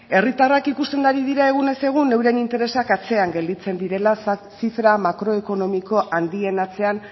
herritarrak ikusten ari dira egunez egun euren interesak atzean gelditzen direla zifra makroekonomiko handien atzean